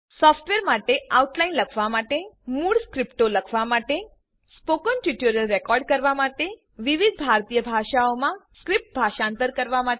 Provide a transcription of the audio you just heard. software માટે outline લખવા માટે મૂળ સ્ક્રિપ્ટો લખવા માટે સ્પોકન ટ્યુટોરીયલ રેકોર્ડ કરવા માટે વિવિધ ભારતીય ભાષાઓમાં સ્ક્રિપ્ટ ભાષાંતર કરવા માટે